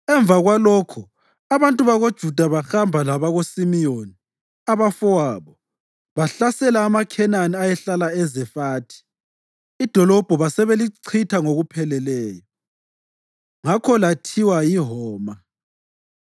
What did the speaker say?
Emva kwalokho abantu bakoJuda bahamba labakoSimiyoni abafowabo bahlasela amaKhenani ayehlala eZefathi, idolobho basebelichitha ngokupheleleyo. Ngakho lathiwa yiHoma.